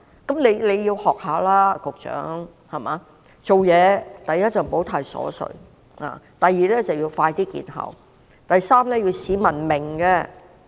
局長，你該學一學他：第一，做事不應太瑣碎；第二，措施要能盡快見效；第三，措施要是市民能懂的。